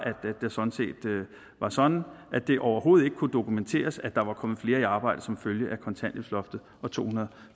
sådan at det overhovedet ikke kunne dokumenteres at der var kommet flere i arbejde som følge af kontanthjælpsloftet og to hundrede og